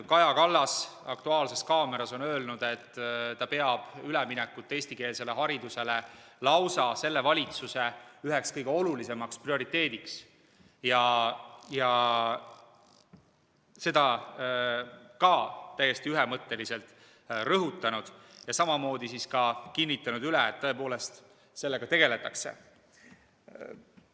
Kaja Kallas on "Aktuaalses kaameras" öelnud, et ta peab üleminekut eestikeelsele haridusele lausa selle valitsuse üheks kõige olulisemaks prioriteediks, ja ta on seda ka täiesti ühemõtteliselt rõhutanud, kinnitanud üle, et tõepoolest sellega tegeldakse.